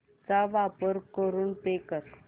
चा वापर करून पे कर